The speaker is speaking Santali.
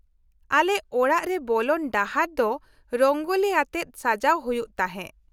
-ᱟᱞᱮ ᱚᱲᱟᱜ ᱨᱮ ᱵᱚᱞᱚᱱ ᱰᱟᱦᱟᱨ ᱫᱚ ᱨᱚᱝᱜᱳᱞᱤ ᱟᱛᱮᱫ ᱥᱟᱡᱟᱣ ᱦᱩᱭᱩᱜ ᱛᱟᱦᱮᱸ ᱾